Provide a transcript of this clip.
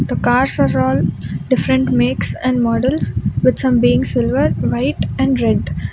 The cars of all different makes and models with some being silver white and red.